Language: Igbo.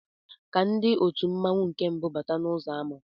Ka ndị òtù mmanwu nke mbu bátá n'uzọ àmá